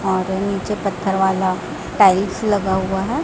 और नीचे पत्थर वाला टाइल्स लगा हुआ है।